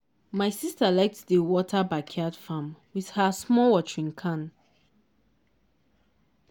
my sister like to dey water backyard farm with her small watering can.